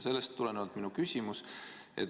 Sellest tulenebki minu küsimus.